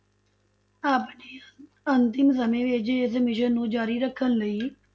ਆਪਣੇ ਅ~ ਅੰਤਿਮ ਸਮੇਂ ਵਿੱਚ ਇਸ mission ਨੂੰ ਜ਼ਾਰੀ ਰੱਖਣ ਲਈ